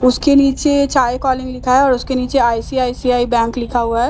उसके नीचे चाय कॉलिंग लिखा है और उसके नीचे आई_सी_आई_सी_आई बैंक लिखा हुआ है जिसका रंग --